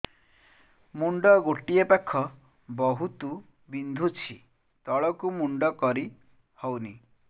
ମୁଣ୍ଡ ଗୋଟିଏ ପାଖ ବହୁତୁ ବିନ୍ଧୁଛି ତଳକୁ ମୁଣ୍ଡ କରି ହଉନି